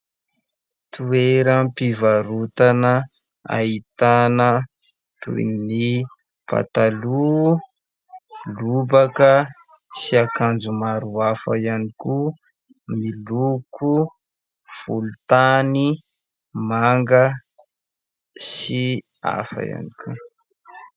Toeram-pivarotana ahitana toy ny pataloha, lobaka sy akanjo maro hafa ihany koa miloko volontany, manga sy hafa ihany koa.